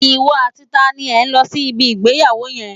Ìwọ àti ta ni ẹ lọ sí ibi ìgbéyàwó yẹn?